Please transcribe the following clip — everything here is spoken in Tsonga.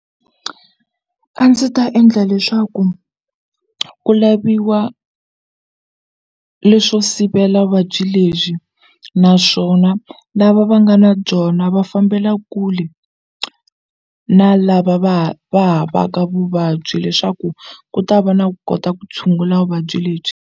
A ndzi ta endla leswaku ku laviwa leswo sivela vuvabyi lebyi naswona lava va nga na byona va fambela kule na lava va va havaka vuvabyi leswaku ku ta va na ku kota ku tshungula vuvabyi lebyi.